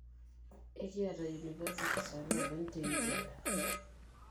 Ekiata universities ooloopeny te Uganda.